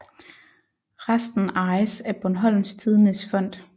Resten ejes af Bornholms Tidendes Fond